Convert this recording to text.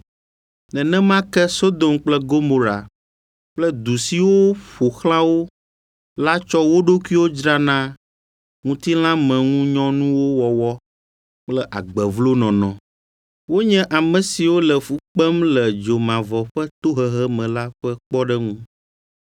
Nenema ke Sodom kple Gomora kple du siwo ƒo xlã wo la tsɔ wo ɖokuiwo dzra na ŋutilãmeŋunyɔnuwo wɔwɔ kple agbe vlo nɔnɔ. Wonye ame siwo le fu kpem le dzomavɔ ƒe tohehe me la ƒe kpɔɖeŋu.